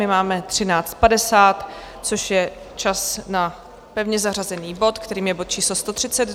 My máme 13.50, což je čas na pevně zařazený bod, kterým je bod číslo